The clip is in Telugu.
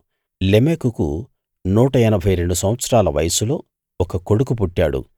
లెమెకుకు నూట ఎనభై రెండు సంవత్సరాల వయస్సులో ఒక కొడుకు పుట్టాడు